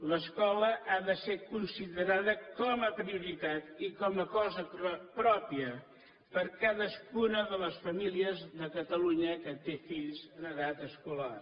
l’escola ha de ser considerada com a prioritat i com a cosa pròpia per cadascuna de les famílies de catalunya que té fills en edat escolar